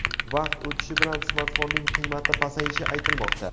Vaqt o‘tishi bilan smartfonning qiymati pasayishi aytilmoqda.